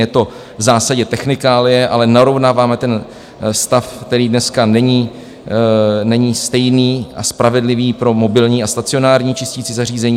Je to v zásadě technikálie, ale narovnáváme ten stav, který dneska není stejný a spravedlivý pro mobilní a stacionární čisticí zařízení.